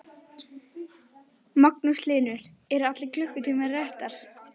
Magnús Hlynur: En eru allar klukkurnar réttar?